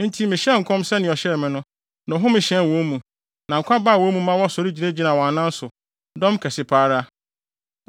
Enti mehyɛɛ nkɔm sɛnea ɔhyɛɛ me no, na ɔhome hyɛn wɔn mu; na nkwa baa wɔn mu ma wɔsɔre gyinagyinaa wɔn anan so, dɔm kɛse pa ara.